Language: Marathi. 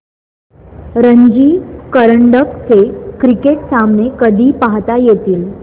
रणजी करंडक चे क्रिकेट सामने कधी पाहता येतील